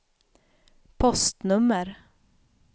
postnummer